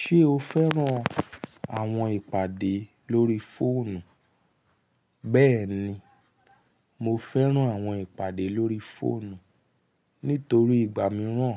Ṣé o fẹ́ràn àwọn ìpàdé lórí fóònù? Bẹ́ẹ̀ni, mo fẹ́ràn àwọn ìpàdé lórí fóònù nítorí ìgbà mìíràn